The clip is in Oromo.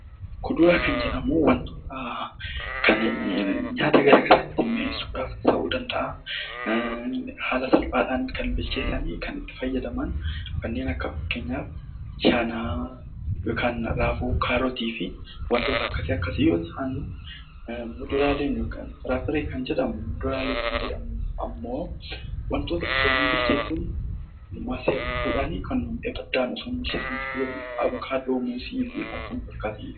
Kuduraa kan jedhamu wantoota nyaata garaagaraa mi'eessuu ta'uu danda'a haala salphaadhaan bilcheessanii kan itti fayyadaman kanneen akka raafuu, kaarotii fi wantoota akkasii muduraaleen immoo wantoota osoo hin bilcheeffamiin nyaataman kan akka muuzii, avokaadoo fa'adha.